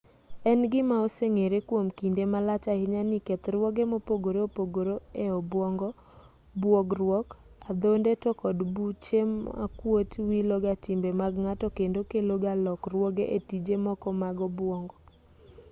en gima oseng'ere kwom kinde malach ahinya ni kethruoge mopogore opogore e obwongo buogruok adhonde to kod buche makuot wilo ga timbe mag ng'ato kendo kelo ga lokruoge e tije moko mag obwongo